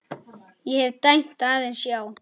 Ég hef dæmt aðeins já.